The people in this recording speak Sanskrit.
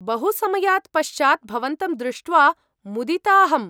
बहुसमयात् पश्चात् भवन्तं दृष्ट्वा मुदिताहम्।